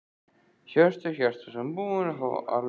Hjörtur Hjartarson: Búin að fá alveg af henni?